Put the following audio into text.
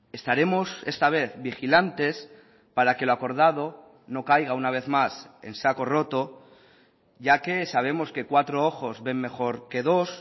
estaremos esta vez vigilantes para que lo acordado no caiga una vez más en saco roto ya que sabemos que cuatro ojos ven mejor que dos